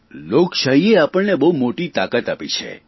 લોકશાહીએ આપણને બહુ મોટી તાકાત આપી છે